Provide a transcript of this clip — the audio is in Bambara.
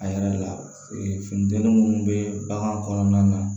A yɛrɛ la finiden munnu be bagan kɔnɔna na